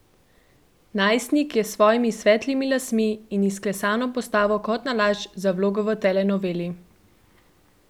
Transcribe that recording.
Najstnik je s svojimi svetlimi lasmi in izklesano postavo kot nalašč za vlogo v telenoveli.